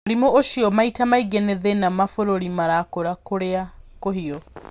Mũrimũ ũcio maita maingĩ nĩ thĩna mabũrũri marakũra kũrĩa kũhiũ.